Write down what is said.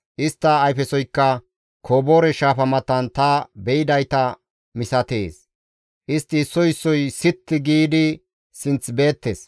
Istta ayfesoykka Koboore Shaafa matan ta be7idayta misatees. Istti issoy issoy sitti giidi sinth beettes.